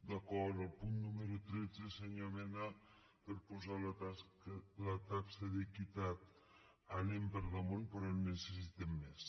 d’acord amb el punt nú·mero tretze senyor mena per posar la taxa d’equitat anem per damunt però en necessitem més